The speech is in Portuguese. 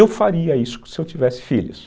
Eu faria isso se eu tivesse filhos.